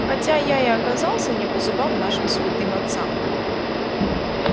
хотя я и оказался не по зубам нашим святым отцам